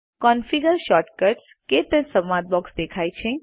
configure shortcuts - ક્ટચ સંવાદ box દેખાય છે